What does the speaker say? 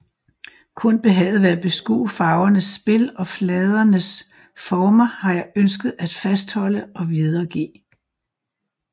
Kun behaget ved at beskue farvernes spil og fladernes former har jeg ønsket at fastholde og videregive